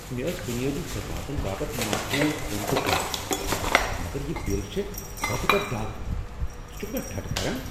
مےٚ ٲس بنیٲدی خدماتن باپت معقول قۭمتُك توقع ، مگر یہ بل چھےٚوٕتہِ پیٹھ ڈاكہٕ ! ژٕ چُھكھہٕ مےٚ ٹھٹھٕہ کران؟